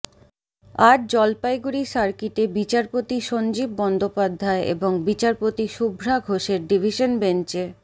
আজ জলপাইগুড়ি সার্কিটে বিচারপতি সঞ্জীব বন্দ্যোপাধ্যায় এবং বিচারপতি শুভ্রা ঘোষের ডিভিশন বেঞ্চে